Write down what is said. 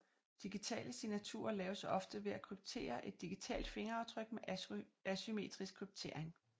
Digitale signaturer laves ofte ved at kryptere et digitalt fingeraftryk med asymmetrisk kryptering